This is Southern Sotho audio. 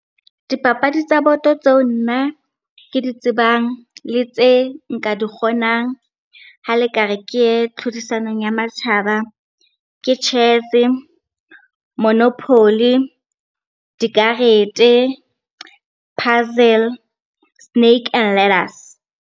Dipapadi tsa boto tseo nna ke di tsebang le tse nka di kgonang ha le ka re ke ye tlhodisanong ya matjhaba. Ke Chess-e, monopoly, dikarete, puzzle snake and letters.